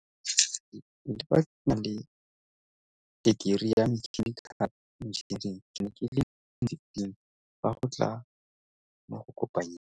Le fa ke ke na le tekerii ya mechanical engineering ke ne ke le mo lefifing fa go tla mo go kopanyeng